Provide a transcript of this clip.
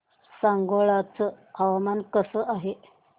सांगोळा चं हवामान कसं आहे